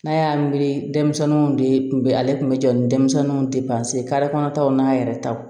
N'a y'a miiri denmisɛnninw de tun bɛ ale tun bɛ jɔ ni denmisɛnninw de pasi kare kɔnɔtaw n'a yɛrɛ taw